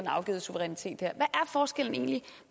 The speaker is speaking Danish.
har afgivet suverænitet her er forskellen egentlig